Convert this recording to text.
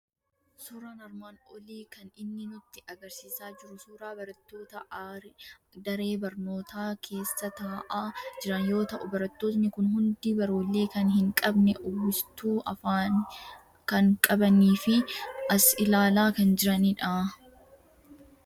Suuraan armaan olii kan inni nutti argisiisaa jiru suuraa barattoota aree barnoota keessa taa'aa jiran yoo ta'u, barattoonni kun hundi baruulee kan hin qabne, uwwistuu afaanii kan qabanii fi as ilaalaa kan jiranidha.